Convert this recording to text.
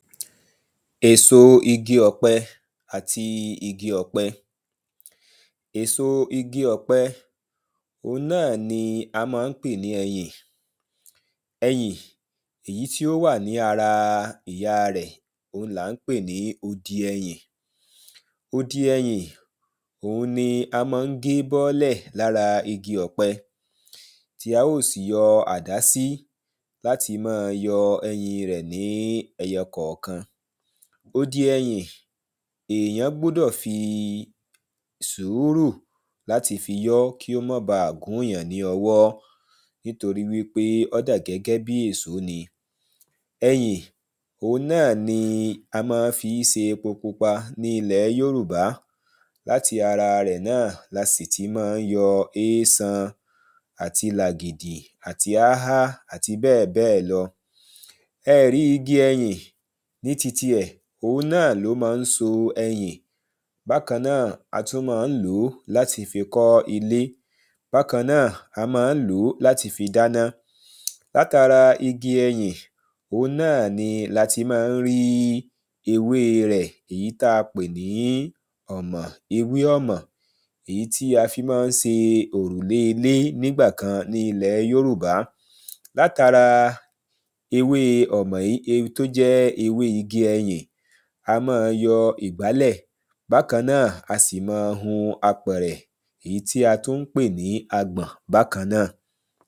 Èsò igi ọ̀pẹ àti igi ọ̀pẹ Èso igi ọ̀pẹ òun náà ni a má ń pè ní ẹyìn Ẹyìn èyí tí ó wà ní ara ìyá rẹ̀ òun ni à ń pè ní odi ẹyìn Odi ẹyìn òun ni má ń gé bọ́lẹ̀ lára igi ọ̀pẹ Tí a óò sì yọ àdá sí láti máa yọ ẹyìn ré ní ẹyọ kọ̀ọ̀kan Odi ẹyìn èyàn gbúdọ̀ fi sùúrù láti fi yọ́ kí ó má baà gún èyàn ní ọwọ́ Nítorí wípé ó da gẹ́gẹ́ bíi èso ni Ẹyìn òun náà ni a má ń fi ṣe epo pupa ní ilẹ̀ Yorùbá Láti ara rẹ̀ náà ni a sì ti má ń yọ éésan Àti làgìdì àti áhá àti bẹ́ẹ̀bẹ́ẹ̀ lọ Ẹ ẹ̀ rí igi ẹyìn ní titi ẹ̀ òun náà ni ó ma ń so ẹyìn Bákan náà a tún ma ń lò ó láti fi kọ́ ilé Bákan náà a má ń lò ó láti fi dáná Láti ara igi ẹyìn òun náà ni lati má n rí ewé rẹ̀ èyí tí a pè ní ọ̀mà ewé ọ̀mà Èyí tí a fi ma ń ṣe òrùlé ilé nígbàkan ní ilẹ̀ Yorùbá Láti ara ewé ọ̀mà yí tí ó jẹ ewé igi èyí a ma ń yọ ìgbálẹ̀ Bákan náà a sì ma ń hun apẹ̀rẹ̀ èyí tí a tú ń pè ní agbọ̀n bákan náà